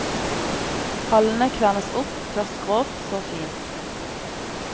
Pallene kvernes opp, først grovt, så fint.